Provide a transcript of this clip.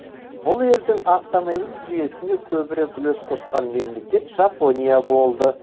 бұл елдің автомобиль жүйесіне көбірек үлес қосқан мемлекет жапония болды